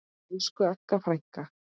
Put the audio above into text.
Elsku Agga frænka.